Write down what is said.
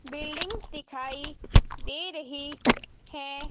Buildings दिखाई दे रही है।